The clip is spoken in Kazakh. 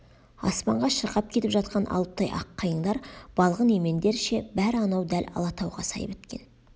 аспанға шырқап кетіп жатқан алыптай ақ қайыңдар балғын емендер ше бәрі анау дәл алатауға сай біткен